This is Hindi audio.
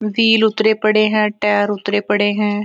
व्हील उतरे पड़े हैं टायर उतरे पड़े हैं।